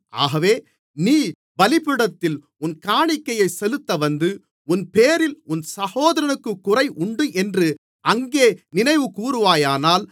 ஆகவே நீ பலிபீடத்தில் உன் காணிக்கையைச் செலுத்த வந்து உன்பேரில் உன் சகோதரனுக்குக் குறை உண்டென்று அங்கே நினைவுகூருவாயானால்